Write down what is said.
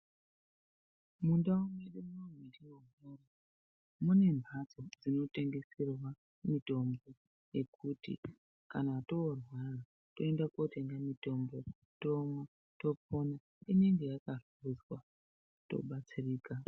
Mundawo medu, munemhatso dzinotengeserwa mitombo yekuti kana torwara toenda kotenge mitombo, tonwa topona. Inenge yakasiswa tobatsirika.